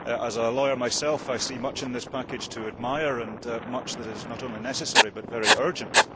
As a lawyer myself I see much in this package to admire, and much that is not only necessary but very urgent.